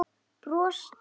Brostir til mín.